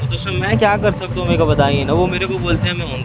दोस्तो मै क्या कर सकता हूं मेरे को बताइये न वो मेरे को बोलते है मैं उन-